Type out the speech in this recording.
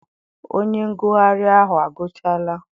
Onye ngụgharị ahụ agụchala?